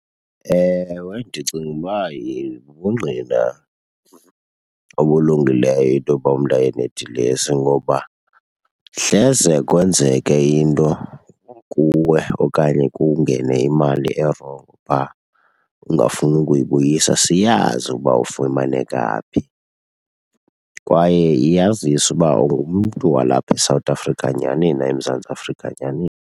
Ewe, ndicinga uba bubungqina obulungileyo into yoba umntu aye nedilesi ngoba hleze kwenzeke into kuwe okanye kungene imali erongo phaa ungafuni ukuyibuyisa, siyazi uba ufumaneka phi. Kwaye yazise uba ungumntu walapha eSouth Africa nyani na, eMzantsi Afrika nyani.